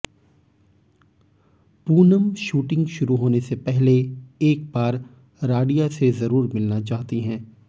Poonam shooting शुरू होने से पहले एक बार राडिया से जरूर मिलना चाहती हैं